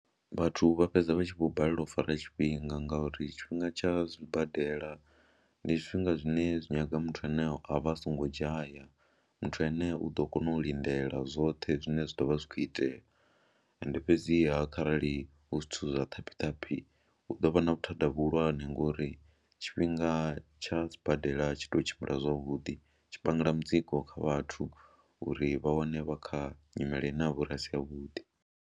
Vhathu vha fhedza vha tshi vho balelwa u fara tshifhinga ngauri tshifhinga tsha zwibadela ndi zwifhinga zwine zwi nyaga muthu ane a vha a songo dzhaya, muthu ane u ḓo kona u lindela zwoṱhe zwine zwa ḓo vha zwi khou itea ende fhedziha kharali hu zwithu zwa ṱhaphiṱhaphi hu ḓo vha na vhuthada vhuhulwane ngori tshifhinga tsha sibadela tshi tou tshimbila zwavhuḓi. tshi pangela mutsiko kha vhathu uri vha wane vha kha nyimele navho ri a si yavhuḓi.